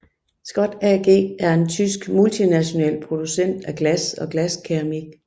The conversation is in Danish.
Schott AG er en tysk multinational producent af glas og glaskeramik